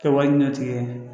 Ka wari ɲɛti ye